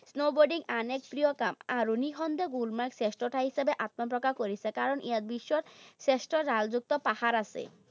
Snowboarding আন এক প্ৰিয় কাম। আৰু নিঃসন্দেহে গুলমাৰ্গ শ্ৰেষ্ঠ ঠাই হিচাপে আত্মপ্ৰকাশ কৰিছে। কাৰণ ইয়াত বিশ্বৰ শ্ৰেষ্ঠ ঢালযুক্ত পাহাৰ আছে।